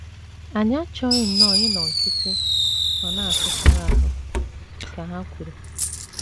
“ Anyị achọghị nnọọ ịnọ nkịtị ma na - atụsara ahụ, ” ka ha kwuru.